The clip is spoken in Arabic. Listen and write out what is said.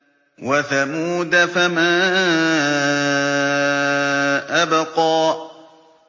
وَثَمُودَ فَمَا أَبْقَىٰ